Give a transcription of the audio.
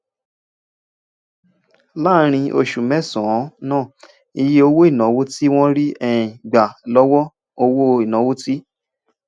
láàárín oṣù mẹsànán náà iye owó ìnáwó tí wọn rí um gbà lówó owó ìnáwó ti